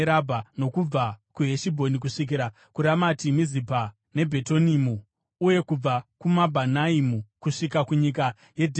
nokubva kuHeshibhoni, kusvikira kuRamati Mizipa neBhetonimu, uye kubva kuMabhanaimu kusvika kunyika yeDhebhiri;